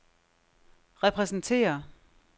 repræsenterer